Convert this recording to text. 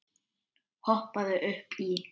Hoppaðu upp í.